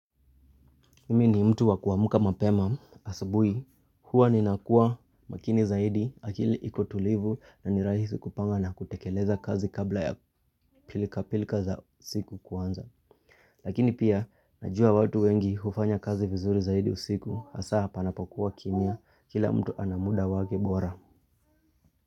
Mimi ni mtu wa kuamuka mapema asabuhi huwa ninakua makini zaidi akili iko tulivu na ni rahisi kupanga na kutekeleza kazi kabla ya pilika pilika za siku kuanza. Lakini pia najua watu wengi hufanya kazi vizuri zaidi usiku hasaa panapokuwa kimya kila mtu ana muda wake bora.